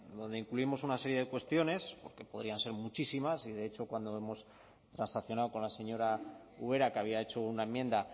donde incluimos una serie de cuestiones porque podrían ser muchísimas y de hecho cuando hemos transaccionado con la señora ubera que había hecho una enmienda